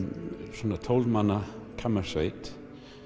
svona tólf manna kammersveit